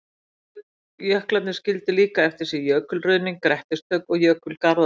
Jöklarnir skildu líka eftir sig jökulruðning, grettistök og jökulgarða.